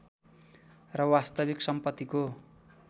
र वास्तविक सम्पत्तिको